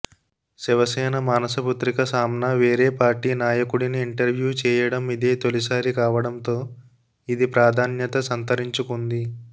శివసేన మానసపుత్రిక సామ్నా వేరే పార్టీ నాయకుడిని ఇంటర్వ్యూ చేయడం ఇదే తొలిసారి కావడంతో ఇది ప్రాధాన్యత సంతరించుకుంది